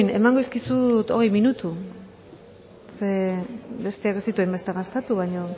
emango dizkizut hogei minutu zeren besteak ez ditu hainbeste gastatu baino